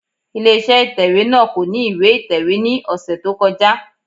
Ilé iṣẹ́ ìtẹ̀wẹ́ náà kò ní ìwé ìtẹ̀wé ní ọ̀sẹ̀ tó kọjá.